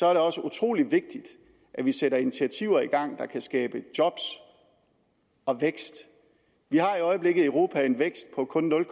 er der også utrolig vigtigt at vi sætter initiativer i gang der kan skabe job og vækst vi har i øjeblikket i europa en vækst på kun nul